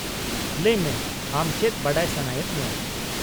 -ᱞᱟᱹᱭ ᱢᱮ, ᱟᱢ ᱪᱮᱫ ᱵᱟᱰᱟᱭ ᱥᱟᱱᱟᱭᱮᱫ ᱢᱮᱭᱟ ?